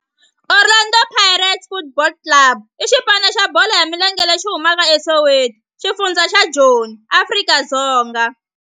Orlando Pirates Football Club i xipano xa bolo ya milenge lexi humaka eSoweto, xifundzha xa Joni, Afrika-Dzonga.